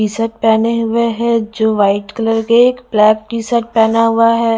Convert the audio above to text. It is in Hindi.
टी शर्ट पहने हुए हैं जो वाइट कलर के एक ब्लैक टी शर्ट पहना हुआ है।